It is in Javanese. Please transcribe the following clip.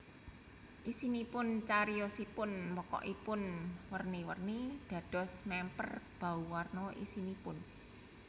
Isinipun Cariyosipun pokokipun werni werni dados mèmper bauwarna isinipun